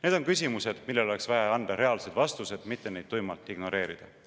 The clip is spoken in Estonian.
" Need on küsimused, millele oleks vaja anda reaalsed vastused, mitte neid tuimalt ignoreerida.